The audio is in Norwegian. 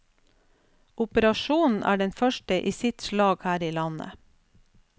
Operasjonen er den første i sitt slag her i landet.